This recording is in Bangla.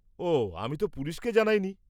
-ওহ্, আমি তো পুলিশকে জানাইনি।